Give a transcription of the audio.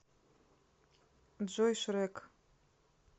джой шрэк